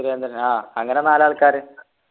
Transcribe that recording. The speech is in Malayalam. സുരേന്ദ്രൻ ആഹ് അങ്ങനെ നാലാൾക്കാര്‌